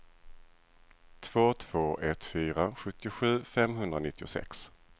två två ett fyra sjuttiosju femhundranittiosex